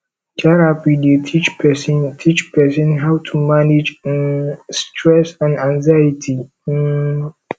therapy dey teach person teach person how to manage um stress and anxiety um